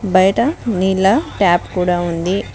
బయట నీళ్ల టాప్ కూడా ఉంది.